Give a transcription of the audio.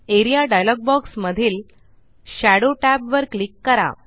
A R E A dialogue box माधील shadow tab वर click करा